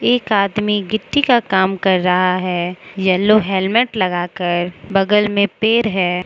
एक आदमी गिट्टी का काम कर रहा है येलो हेलमेट लगा कर बगल में पेड़ है।